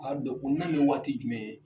A dɔn kuna bɛ waati jumɛn ?